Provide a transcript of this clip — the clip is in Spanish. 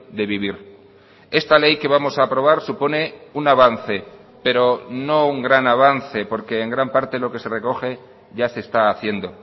de vivir esta ley que vamos a aprobar supone un avance pero no un gran avance porque en gran parte lo que se recoge ya se está haciendo